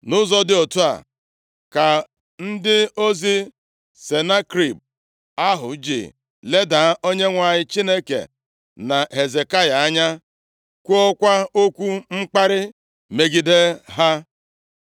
Nʼụzọ dị otu a ka ndị ozi Senakerib ahụ ji leda Onyenwe anyị Chineke, na Hezekaya anya kwuokwa okwu mkparị megide ha.